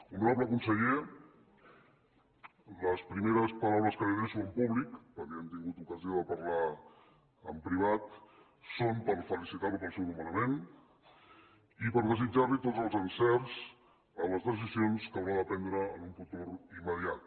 honorable conseller les primeres paraules que li adreço en públic perquè ja hem tingut ocasió de parlar en privat són per felicitar lo pel seu nomenament i per desitjar li tots els encerts en les decisions que haurà de prendre en un futur immediat